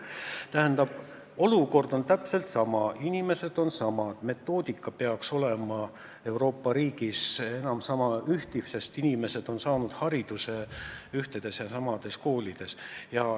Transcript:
Tähendab, olukord on täpselt sama, inimesed on samad, metoodika peaks olema Euroopa Liidu riigis samasugune, sest inimesed on saanud hariduse ühtedes ja samades koolides.